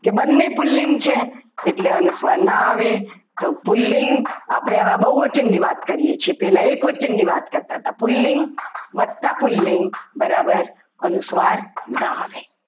કે બંને પુલ્લિંગ છે એટલે અનુસ્વાર ના આવે પુલ્લિંગ આપણે આમાં બહુવચન ની વાત કરીએ છીએ પહેલા એક વચનની વાત કરતા હતા પુલ્લિંગ વધતા પુલ્લિંગ બરાબર અનુસ્વાર ના આવે.